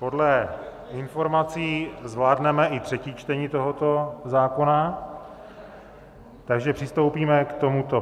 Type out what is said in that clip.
Podle informací zvládneme i třetí čtení tohoto zákona, takže přistoupíme k tomuto.